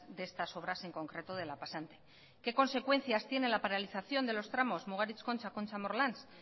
de estas obras en concreto de la pasante qué consecuencias tiene la paralización de los tramos mugaritz la concha la concha morlans